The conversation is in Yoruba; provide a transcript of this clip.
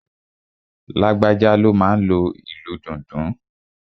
Lágbájá ló máa n lo ìlù dundun